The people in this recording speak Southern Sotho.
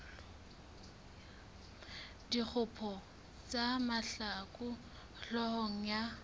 dikgopo tsa mahlaku hloohong ya